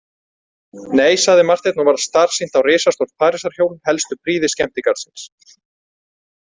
Nei, sagði Marteinn og varð starsýnt á risastórt Parísarhjól, helstu prýði skemmtigarðsins.